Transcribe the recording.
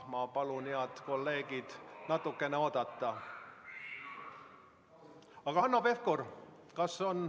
Ma palun teil, head kolleegid, natukene oodata.